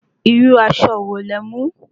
Irú aṣọ wo lẹ mú?